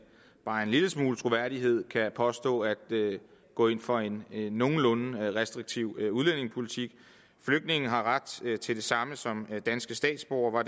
bare en lille smule troværdighed kan påstå at de går ind for en nogenlunde restriktiv udlændingepolitik flygtninge har ret til det samme som danske statsborgere